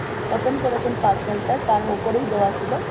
open করেছেন parcel page তার উপরেই দেয়া ছিল